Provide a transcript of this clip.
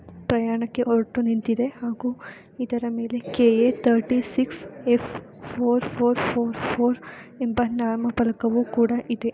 ಪ್ರಯಾಣಕ್ಕೆ ಹೊರಟು ನಿಂತಿದೆ ಹಾಗು ಇದರ ಮೇಲೆ K A thirty six F four four four ಎಂಬ ನಾಮಫಲಕವು ಕೂಡ ಇದೆ.